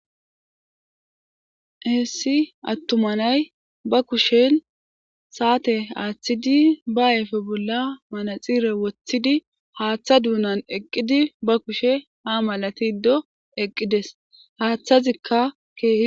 Heessi attumanay ba kushen saate aaththidi ba ayfe bolla manaxire woththidi haaththa duunan eqqidi ba kushe ha malati ddo eqqides haaththazikka keehi.